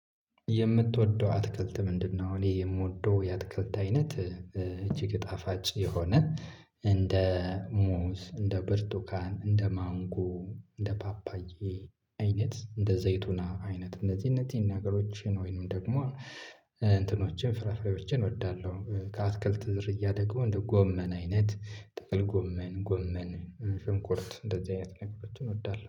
የምትወደው አትክልት ምንድነው? እኔ የምወደው የአትክልት አይነት እጅግ ጣፋጭ የሆነ እንደ ሙዝ እንደ ብርቱካን እንደ ማንጎ እንደ ፓፓዬ አይነት እንደ ዘይቱና አይነት እነዚህን እነዚህን ነገሮችን ወይንም ደግሞ እንትኖችን ፍራፍሬዎችን እወዳለሁ። ከአትክልት ዝርያ ደግሞ እንደ ጎመን አይነት ጥቅል ጎመን ጎመን ሽንኩርት እንደዚህ አይነት ነገሮችን እወዳለሁ